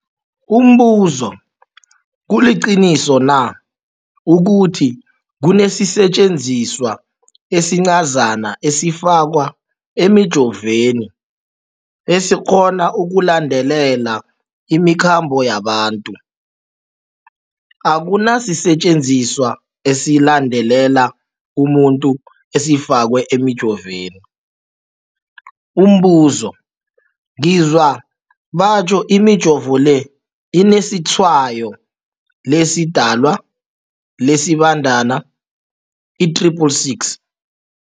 Umbuzo, kuliqiniso na ukuthi kunesisetjenziswa esincazana esifakwa emijovweni, esikghona ukulandelela imikhambo yabantu? Akuna sisetjenziswa esilandelela umuntu esifakwe emijoveni. Umbuzo, ngizwa batjho imijovo le inetshayo lesiDalwa, lesiBandana i-666.